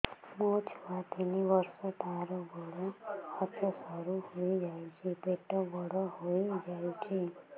ମୋ ଛୁଆ ତିନି ବର୍ଷ ତାର ଗୋଡ ହାତ ସରୁ ହୋଇଯାଉଛି ପେଟ ବଡ ହୋଇ ଯାଉଛି